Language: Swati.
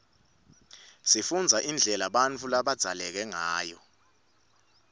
sifundza indlela bautfu labadzaleke ngayo